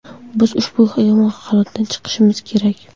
Biz ushbu yomon holatdan chiqishimiz kerak.